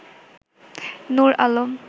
Nur Alam